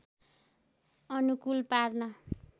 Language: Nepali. अनुकूल पार्न